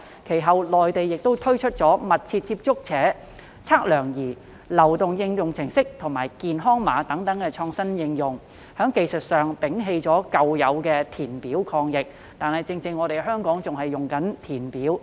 其後，內地推出"密切接觸者測量儀"流動應用程式和健康碼等創新應用，從技術上捨棄舊式的填表抗疫，但香港卻仍然在填表。